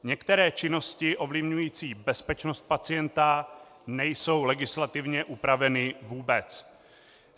Některé činnosti ovlivňující bezpečnost pacienta nejsou legislativně upraveny vůbec.